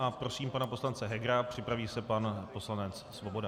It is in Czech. A prosím pana poslance Hegera, připraví se pan poslanec Svoboda.